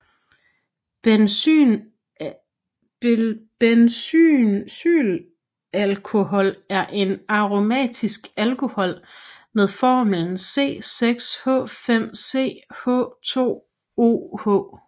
Benzylalkohol er aromatisk alkohol med formlen C6H5CH2OH